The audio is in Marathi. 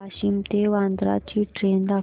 वाशिम ते वर्धा ची ट्रेन दाखव